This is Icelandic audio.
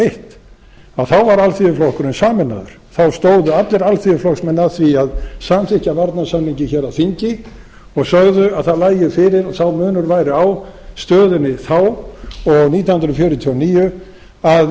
eitt þá var alþýðuflokkurinn sameinaður þá stóðu allir alþýðuflokksmenn að því að samþykkja varnarsamninginn hér á þingi og sögðu að það lægi fyrir og sá munur væri á stöðunni þá og nítján hundruð fjörutíu og níu að